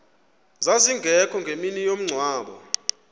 zazingekho ngemini yomngcwabo